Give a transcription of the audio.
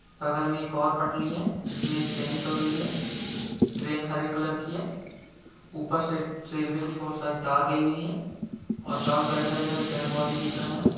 बगल में एक और पटली है जिसमें एक ट्रेन चल रही है ट्रेन हरे कलर की है ऊपर से रेलवे की बहुत सारी तार गई हुई है और चारो साइड हरे भरे पेड़-पौधे दिख रहें है।